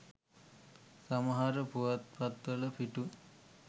සමහර පුවත්පත්වල පිටු